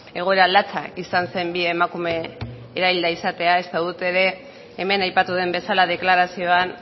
egoera latza izan zen bi emakume erailda izatea eta guk ere hemen aipatu den bezala deklarazioan